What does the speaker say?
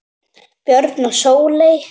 Björn og Sóley.